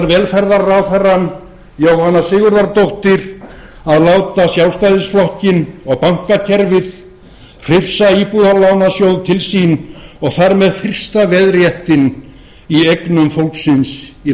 velferðarráðherrann jóhanna sigurðardóttir að láta sjálfstæðisflokkinn og bankakerfið hrifsa íbúðalánasjóð til sín og þar sem fyrsta veðréttinn í eignum fólksins í